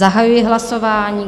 Zahajuji hlasování.